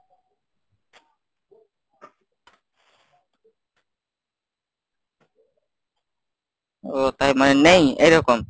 ও তাই মানে নেই এইরকম?